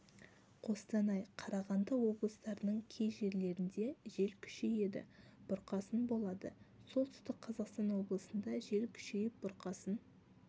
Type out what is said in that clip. қостанай қарағанды облыстарының кей жерлерінде жел күшейеді бұрқасын болады солтүстік қазақстан облысында жел күшейіп бұрқасын